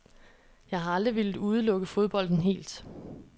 Jeg har aldrig villet udelukke fodbolden helt.